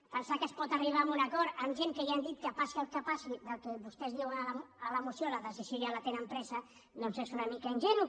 pensar que es pot arribar a un acord amb gent que ja han dit que passi el que passi en el que vostès diuen a la moció la decisió ja la tenen presa doncs és una mica ingenu